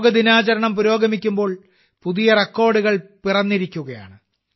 യോഗാ ദിനാചരണം പുരോഗമിക്കുമ്പോൾ പുതിയ റെക്കോർഡുകൾ പിറന്നിരിക്കുകയാണ്